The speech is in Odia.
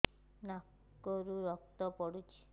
ନାକରୁ ରକ୍ତ ପଡୁଛି